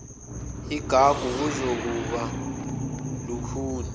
igagu kuzokuba lukhuni